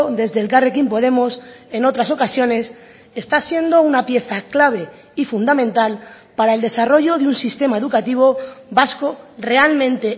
desde elkarrekin podemos en otras ocasiones está siendo una pieza clave y fundamental para el desarrollo de un sistema educativo vasco realmente